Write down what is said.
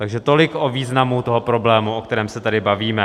Takže tolik o významu toho problému, o kterém se tady bavíme.